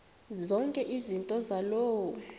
zonke izinto zaloo